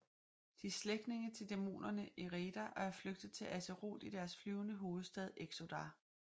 De er slægtninge til dæmonerne Eredar og er flygtet til Azeroth i deres flyvende hovedstad Exodar